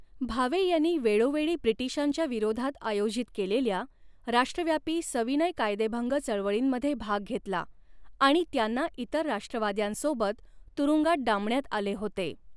भावे यांनी वेळोवेळी ब्रिटिशांच्या विरोधात आयोजित केलेल्या राष्ट्रव्यापी सविनय कायदेभंग चळवळींमध्ये भाग घेतला आणि त्यांना इतर राष्ट्रवाद्यांसोबत तुरुंगात डांबण्यात आले होते.